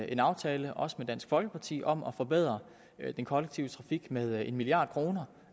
en aftale også med dansk folkeparti om at forbedre den kollektive trafik med en milliard kroner